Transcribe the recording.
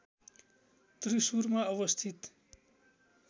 त्रिशुरमा अवस्थित